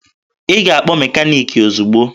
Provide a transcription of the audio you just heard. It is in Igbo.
Ị ga-akpọ mekaniki ozugbo!